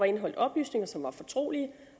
indeholdt oplysninger som var fortrolige